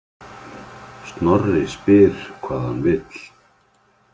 Snorri spyr hvað hann vill.